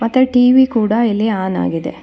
ಅತ್ತ ಟಿ_ವಿ ಕೂಡ ಇಲ್ಲಿ ಆನ್ ಆಗಿದೆ.